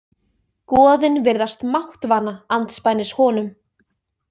Goðin virðast máttvana andspænis honum.